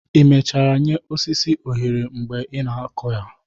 ị mechara nye osisi oghere mgbe ị na-akụ ha?